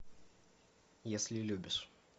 если любишь